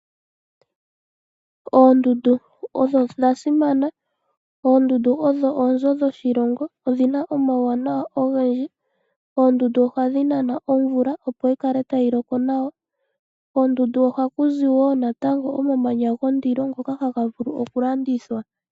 Oondundu odho odha simana, oondundu odho oonzo dhoshilongo odhina omauwanawa ogendji. Oondundu ohadi nana omvula, opo yi kale tayi loko nawa. Koondundu ohaku zi wo natango omamanya gondilo ngoka haga vulu oku landithwa.